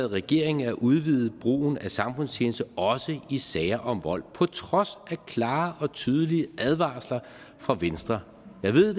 regering at udvide brugen af samfundstjeneste også i sager om vold på trods af klare og tydelige advarsler fra venstre jeg ved